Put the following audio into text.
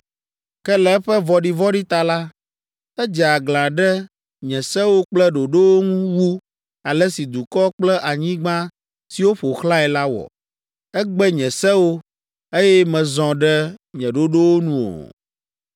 Ke le eƒe vɔ̃ɖivɔ̃ɖi ta la, edze aglã ɖe nye sewo kple ɖoɖowo ŋu wu ale si dukɔ kple anyigba siwo ƒo xlãe la wɔ. Egbe nye sewo, eye mezɔ ɖe nye ɖoɖowo nu o.’